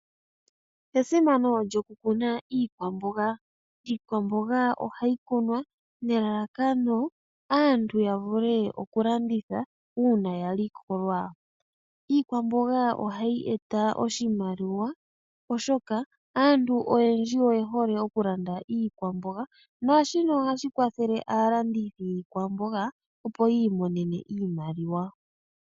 Esimano lyoku kuna iikwamboga, iikwamboga ohayi kunwa nelalakano aantu ya vule oku landitha uuna ya likolwa. Iikwamboga ohayi eta oshimaliwa oshoka aantu oyendji oye hole oku landa iikwamboga, naashino ohashi kwathele aalandithi yiikwamboga, opo yi imonene iimaliwa.